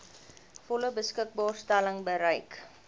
volle beskikbaarstelling bereik